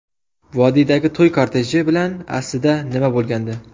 Vodiydagi to‘y korteji bilan aslida nima bo‘lgandi?